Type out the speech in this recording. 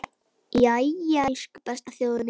Jæja, elsku besta þjóðin mín!